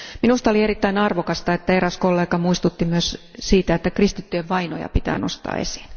Minusta oli erittäin arvokasta, että eräs kollega muistutti myös siitä, että kristittyjen vainoja pitää nostaa esiin.